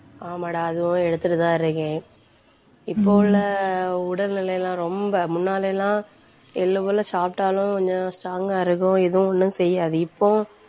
ஆமாடா அதுவும் எடுத்துட்டுதான் இருக்கேன். இப்போ உள்ள உடல்நிலை எல்லாம் ரொம்ப முன்னால எல்லாம் எள்ளுக்குள்ள சாப்பிட்டாலும் கொஞ்சம் strong ஆ இருக்கும் எதுவும் ஒண்ணும் செய்யாது இப்போ